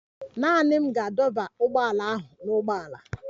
Naanị m ga-adọba ụgbọala ahụ n'ụgbọala.